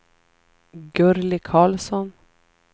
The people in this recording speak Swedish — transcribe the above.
Gurli Karlsson